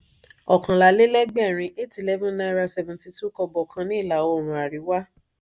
ọọkànlá-le-legbẹrin eight eleven naira seventy two kobo kan ní ìlà-oòrùn àríwá.